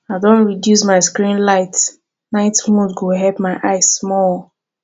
i don reduce my screen light night mode go help my eyes small